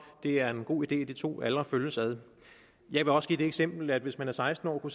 det er en god idé at de to aldre følges ad jeg vil også give det eksempel at hvis man var seksten år